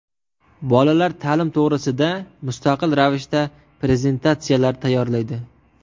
Bolalar ta’lim to‘g‘risida mustaqil ravishda prezentatsiyalar tayyorlaydi.